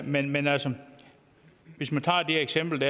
men men altså hvis man tager eksemplet